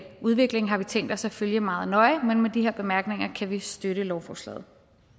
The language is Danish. udvikling har vi tænkt os at følge meget nøje men med de her bemærkninger kan vi støtte lovforslaget